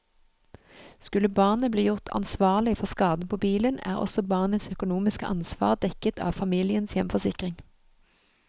Skulle barnet bli gjort ansvarlig for skaden på bilen, er også barnets økonomiske ansvar dekket av familiens hjemforsikring.